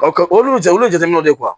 olu jaw ye jateminɛw de